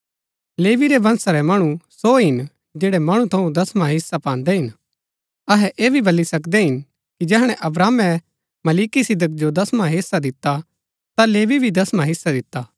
लेवी रै वंशा रै मणु सो हिन जैड़ै मणु थऊँ दसवां हिस्सा पान्दै हिन अहै ऐह भी बल्ली सकदै हिन कि जैहणै अब्राहमे मलिकिसिदक जो दसवां हेस्सा दिता ता लेवी भी दसवां हेस्सा दिता